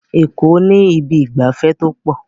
Eko ni Ibi ìgbafẹ́ to po